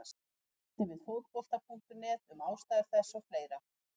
Hún ræddi við Fótbolta.net um ástæður þess og fleira.